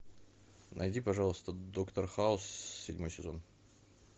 найди пожалуйста доктор хаус седьмой сезон